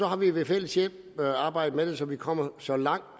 har vi ved fælles hjælp arbejdet med det så vi kommer så langt